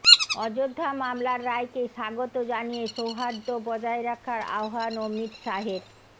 অযোধ্যা মামলার রায়কে স্বাগত জানিয়ে সৌহার্দ্য বজায় রাখার আহ্বান অমিত শাহের